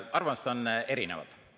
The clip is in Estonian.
Arvamused on erinevad.